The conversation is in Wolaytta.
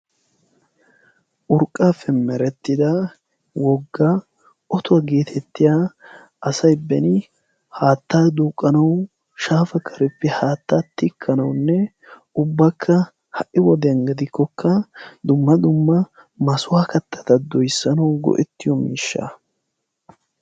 urqqappe meretidda wogga otto getettiya asay beni haattta duuqqanaw shaafa kareppe haatta tikkanawunne ubbakka ha'i wodiyaan gidikko dumma dumma massuwaa kattata doyssanaw go'etiyo miishsha.